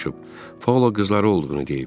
Paula qızları olduğunu deyib.